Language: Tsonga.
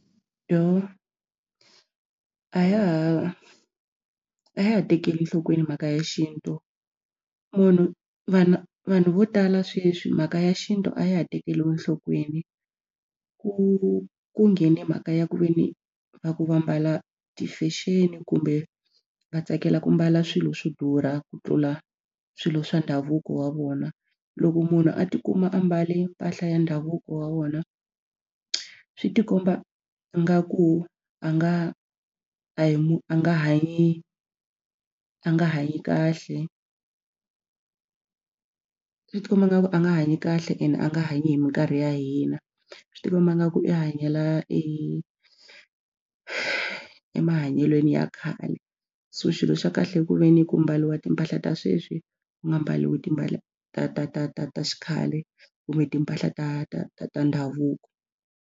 Dooh, a ya ha a ya ha tekeli enhlokweni mhaka ya xintu munhu vanhu vanhu vo tala sweswi mhaka ya xintu a ya ha tekeriwi enhlokweni ku ku nghene mhaka ya ku ve ni va ku va mbala ti-fashion kumbe va tsakela ku mbala swilo swo durha ku tlula swilo swa ndhavuko wa vona. Loko munhu a tikuma a mbale mpahla ya ndhavuko wa vona swi tikomba nga ku a nga a hi mu a nga hanyi a nga hanyi kahle swi tikomba nga ku a nga hanyi kahle ene a nga hanyi hi mikarhi ya hina. Swi tikomba nga ku i hanyela e emahanyelweni ya khale so xilo xa kahle ku ve ni ku mbariwa timpahla ta sweswi ku nga mbariwi timpahla ta ta ta ta ta xikhale kumbe timpahla ta ta ta ta ndhavuko.